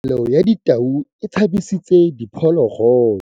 Katamelo ya tau e tshabisitse diphologolo.